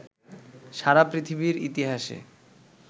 সারা পৃথিবীর ইতিহাসে